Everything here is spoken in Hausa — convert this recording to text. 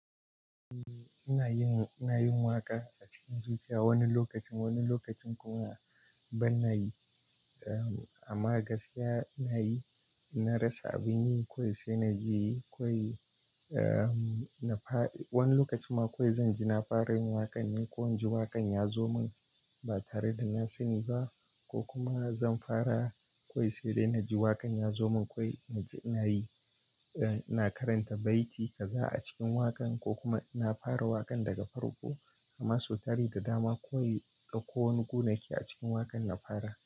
Eh, ina yin, ina yin waƙa a cikin zuciya wani lokacin, wani lokacin kuma ban yi. Amma gaskiya na yi, na rasa abin yi kawai sai na ji kawai, na fa-- wani lokaci ma kawai zan ji na fara yin waƙan ne ko in ji waƙan ya zo min ba tare da na sani ba, ko kuma zan fara kawai sai dai na ji waƙan ya zo min kawai na ji ina yi. Ina karanta baiti jaza a cikin waƙan ko kuma na fara waƙan daga farko, amma sotari da dama kawai ko wani gu nake a cikin waƙan na fara.